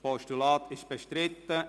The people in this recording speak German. – Es ist bestritten.